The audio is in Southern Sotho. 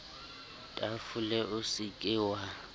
tafole o se ke wa